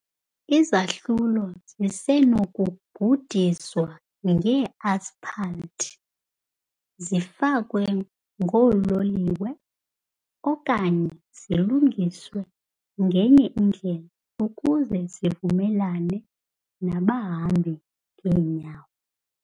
Izahlulo zisenokugudiswa nge -asphalt, zifakwe ngoololiwe, okanye zilungiswe ngenye indlela ukuze zivumelane nabahambi ngeenyawo .